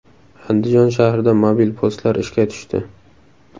Andijon shahrida mobil postlar ishga tushdi.